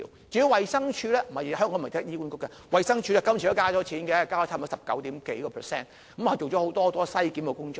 至於衞生署，香港不是只有醫管局，衞生署這次都增加了撥款，增加了差不多十九點幾個百分點，做了很多篩檢工作。